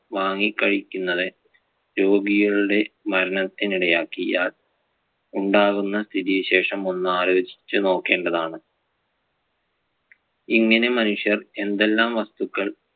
വാങ്ങികഴിക്കുന്നത് രോഗികളുടെ മരണത്തിന് ഇടയാക്കിയാൽ ഉണ്ടാകുന്ന സ്ഥിതിവിശേഷം ഒന്ന് ആലോചിച്ചു നോക്കേണ്ടതാണ്. ഇങ്ങനെ മനുഷ്യർ എന്തെല്ലാം വസ്തുക്കൾ